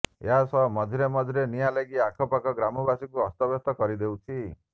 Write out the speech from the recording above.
ଏହା ସହ ମଝିରେ ମଝିରେ ନିଆଁ ଲାଗି ଆଖପାଖ ଗ୍ରାମବାସୀଙ୍କୁ ଅସ୍ତବ୍ୟସ୍ତ କରିଦେଉଛି